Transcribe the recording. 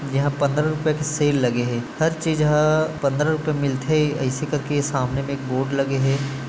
यहाँ पंद्रह रुपये का सेल लगे हे हर चीज़ ह पंद्रह रुपये में मिलथे आईसे कर के सामने में बोर्ड लगे हे।